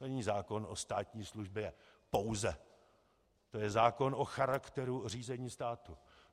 To není zákon o státní službě - pouze, to je zákon o charakteru řízení státu.